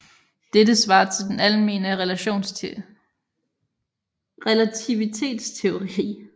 Dette svarer til den almene relativitetsteori